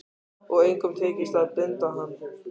Og engum tekist að binda hann.